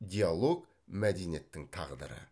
диалог мәдениеттің тағдыры